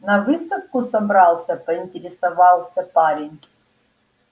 на выставку собрался поинтересовался парень